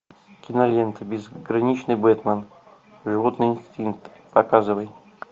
кинолента безграничный бэтмен животный инстинкт показывай